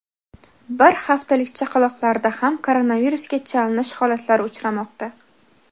bir haftalik chaqaloqlarda ham koronavirusga chalinish holatlari uchramoqda.